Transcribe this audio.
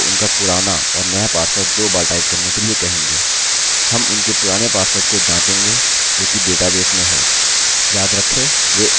हम यूज़र को एक फॉर्म देंगे और यूज़र को उनका पुराना और नया पासवर्ड दो बार टाइप करने के लिए कहेंगे